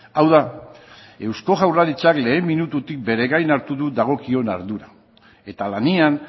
hau da eusko jaurlaritzak lehen minututik bere gain hartu du dagokion ardura eta lanean